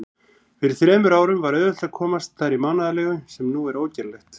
Fyrir þremur árum var auðvelt að komast þar í mánaðarleigu, sem nú er ógerlegt.